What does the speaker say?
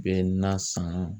bɛ nan san.